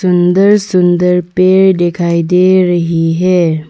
सुंदर सुंदर पेड़ दिखाई दे रही है।